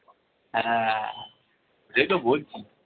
হ্যাঁ সেই তো বলছি।